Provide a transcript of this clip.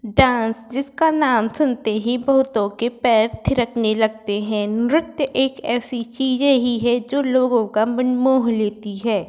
Dance जिसका नाम सुनते ही बहुतो के पैर थिरकने लगते हैं नृत्य एक ऐसी चीज है जो लोगो का मन मोह लेती है।